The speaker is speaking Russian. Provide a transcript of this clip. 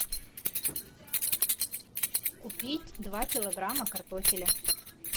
купить два килограмма картофеля